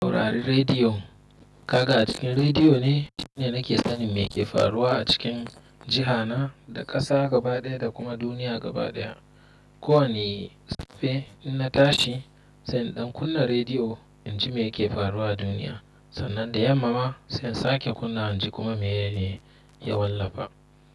Saurari rediyon. Ka ga a cikin rediyo ne shine nake sanin me ke faruwa a cikin jiha na, da ƙasa gaba ɗaya da kuma duniya gaba ɗaya. Ko wani safe inna tashi, sai in ɗan kunna rediyo in ji me yake faruwa a duniya. Sannan da yamma ma, sai in sake kunna inji kuma mene ne ya wallafa.